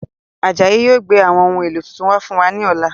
Ajayi yìí ó gbé àwọn ohun èlò tuntun wá fún wa ní ọ̀la.